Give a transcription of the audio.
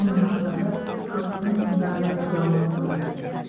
оның мақсаты халықпен сындарлы диалог құру